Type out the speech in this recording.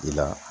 I la